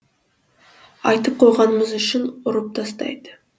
айтып қойғанымыз үшін ұрып тастайды